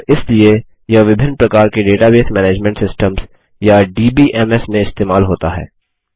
और इसलिए यह विभिन्न प्रकार के डेटाबेस मैनेजमेंट सिस्टम्स या डीबीएमएस में इस्तेमाल होता है